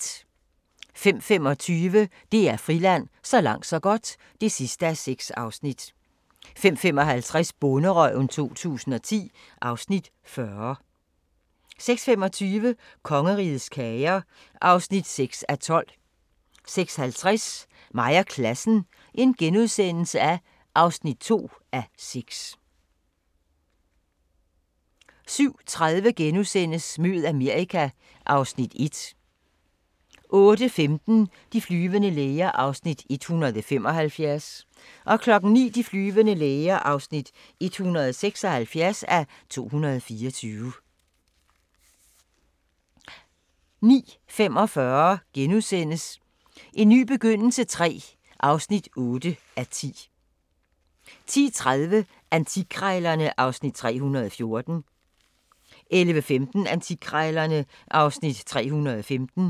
05:25: DR Friland: Så langt så godt (6:6) 05:55: Bonderøven 2010 (Afs. 40) 06:25: Kongerigets Kager (6:12) 06:50: Mig og Klassen (2:6)* 07:30: Mød Amerika (Afs. 1)* 08:15: De flyvende læger (175:224) 09:00: De flyvende læger (176:224) 09:45: En ny begyndelse III (8:10)* 10:30: Antikkrejlerne (Afs. 314) 11:15: Antikkrejlerne (Afs. 315)